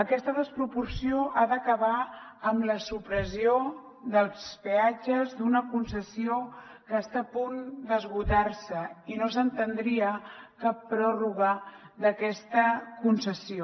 aquesta desproporció ha d’acabar amb la supressió dels peatges d’una concessió que està a punt d’esgotar se i no s’entendria cap pròrroga d’aquesta concessió